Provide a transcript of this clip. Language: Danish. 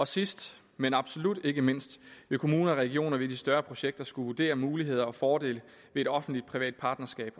sidst men absolut ikke mindst vil kommuner og regioner ved de større projekter skulle vurdere muligheder og fordele ved et offentlig privat partnerskab